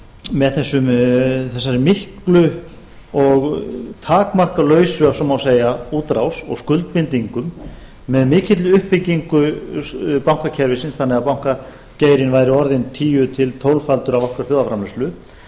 með þessari miklu og takmarkalausu ef svo má segja útrás og skuldbindingum með mikilli uppbyggingu bankakerfisins þannig að bankageirinn væri orðinn tíu til tólffaldur af okkar þjóðarframleiðslu